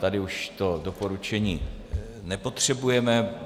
Tady už to doporučení nepotřebujeme.